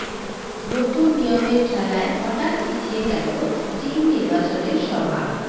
নতুন নিয়মের ঠেলায় হঠাৎ পিছিয়ে গেল টিম নির্বাচনের সভা